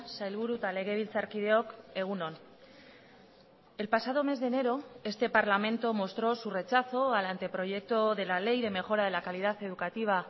sailburu eta legebiltzarkideok egun on el pasado mes de enero este parlamento mostró su rechazo al anteproyecto de la ley de mejora de la calidad educativa